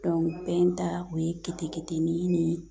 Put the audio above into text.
bɛɛ ta o ye keteketenin ni